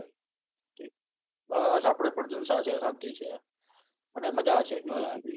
બસ આપણે પણ જલસા છે શાંતિ છે અને મજા છે બીજું શું જોઈએ